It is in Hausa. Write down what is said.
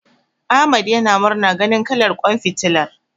Ahmad yana murna ganin kalar ƙwan fitilar.